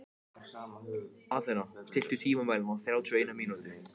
Hafþór: Var þetta á leikskólanum sem að þú teiknaðir rennibrautina?